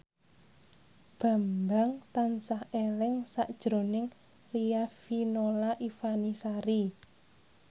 Bambang tansah eling sakjroning Riafinola Ifani Sari